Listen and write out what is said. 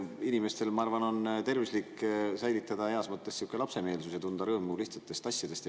Inimestel, ma arvan, on tervislik säilitada heas mõttes sihuke lapsemeelsus ja tunda rõõmu lihtsatest asjadest.